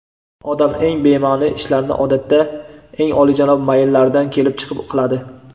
Odam eng bema’ni ishlarni odatda eng olijanob mayllaridan kelib chiqib qiladi.